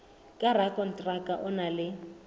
ka rakonteraka o na le